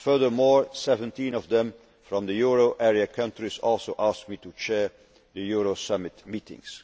years. Furthermore, 17 of them, from the euro area countries, also asked me to chair the euro summit